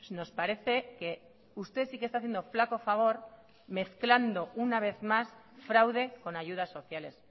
nos parece que usted sí que está haciendo flaco favor mezclando una vez más fraude con ayudas sociales